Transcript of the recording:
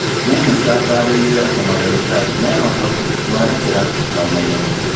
Mĩnĩsta atarĩirie atĩ madagītari mena ũhoti, mwerekera na ũmenyo